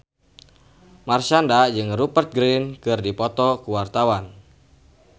Marshanda jeung Rupert Grin keur dipoto ku wartawan